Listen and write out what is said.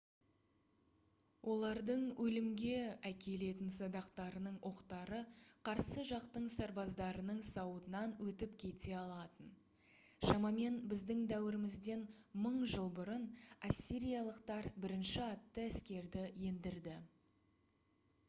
олардың өлімге әкелетін садақтарының оқтары қарсы жақтың сарбаздарының сауытынан өтіп кете алатын шамамен біздің дәуірімізден 1000 жыл бұрын ассириялықтар бірінші атты әскерді ендірді